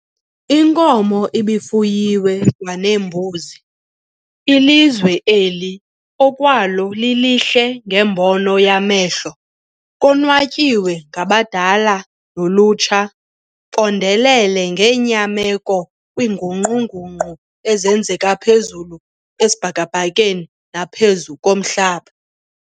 Inkomo ibifuyiwe kwanembuzi, ilizwe eli okwalo lilihle ngembono yamehlo, konwatyiwe ngabadala nolutsha, bondele ngenyameko kwiinguqu-nguqu ezenzeka phezulu esibhakabhakeni naphezu komhlaba.